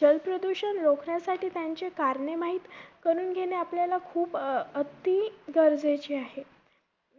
जलप्रदूषण रोखण्यासाठी त्यांचे कारणे माहित करून घेणे, आपल्याला खूप अं अति गरजेचे आहे.